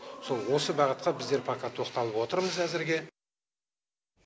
сол осы бағытқа біздер пока тоқталып отырмыз әзірге